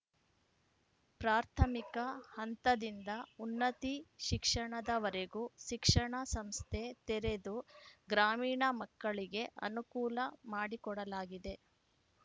ಪ್ರಾಥಮಿಕ ಹಂತದಿಂದ ಉನ್ನತಿ ಶಿಕ್ಷಣದವರೆಗೂ ಶಿಕ್ಷಣ ಸಂಸ್ಥೆ ತೆರೆದು ಗ್ರಾಮೀಣ ಮಕ್ಕಳಿಗೆ ಅನುಕೂಲ ಮಾಡಿಕೊಡಲಾಗಿದೆ